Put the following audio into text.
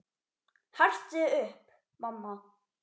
Hertu þig upp, mamma.